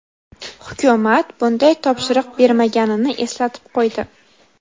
hukumat bunday topshiriq bermaganini eslatib qo‘ydi.